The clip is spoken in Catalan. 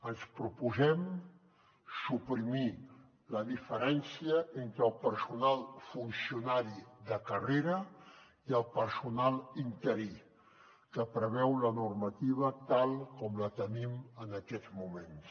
ens proposem suprimir la diferència entre el personal funcionari de carrera i el personal interí que preveu la normativa tal com la tenim en aquests moments